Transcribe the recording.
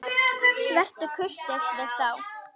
Vertu kurteis við þá!